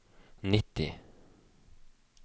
nitti